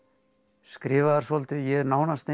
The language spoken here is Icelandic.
skrifaðar svolítið ég er nánast eins